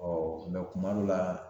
kuma dɔw la